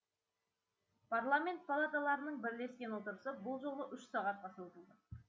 парламент палаталарының бірлескен отырысы бұл жолы сағатқа созылды